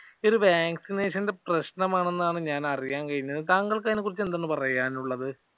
ഇത് vaccination ന്റെ പ്രശ്നമാണെന്നാണ് ഞാൻ അറിയാൻ കഴിഞ്ഞത്. താങ്കൾക്ക് അതിനെക്കുറിച്ച് എന്താണ് പറയാനുള്ളത്.